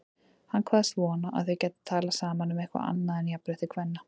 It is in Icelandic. Hann kvaðst vona að þau gætu talað saman um eitthvað annað en jafnrétti kvenna.